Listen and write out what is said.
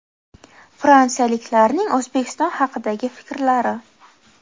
Fransiyaliklarning O‘zbekiston haqidagi fikrlari.